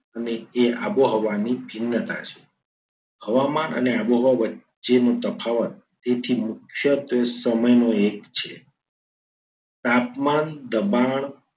એ આબોહવાની ભિન્નતા છે. હવામાન અને આબોહવા વચ્ચેનો તફાવત તેથી મુખ્ય ત્વે સમયનો એક છે. તાપમાન દબાણ